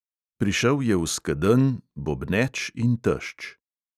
Prišel je v skedenj, bobneč in tešč.